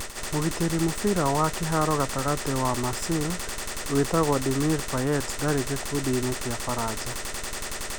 Mũgitĩri mũbira wa kĩharo gatagatĩ wa Marseille wĩtagwo Dimitri Payet ndarĩ gĩkundi-inĩ gĩa Baranja.